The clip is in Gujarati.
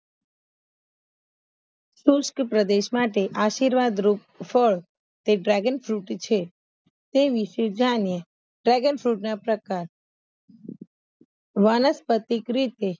પ્રદેશ માટે આશીર્વાદ રૂપ હોય તો Dragon Fruit છે તે વિશે જાણ્યે Dragon Fruit ના પ્રકાર વનસ્પતિક રીતે